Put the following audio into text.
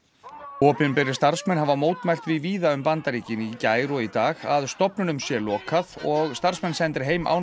opinberir starfsmenn hafa mótmælt því víða um Bandaríkin í gær og í dag að stofnunum sé lokað og starfsmenn sendir heim án